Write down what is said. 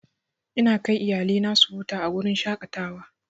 Ina kai iyalina ta huta a wurin shaƙatawa.